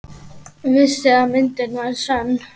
Vissi að myndin var sönn.